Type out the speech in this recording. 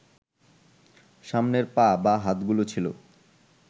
সামনের পা বা হাতগুলো ছিল